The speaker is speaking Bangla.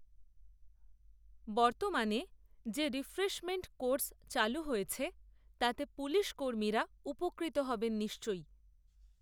বর্তমানে যে রিফ্রেশমেন্ট কোর্স চালু হয়েছে, তাতে পুলিশকর্মীরা, উপকৃত হবেন নিশ্চয়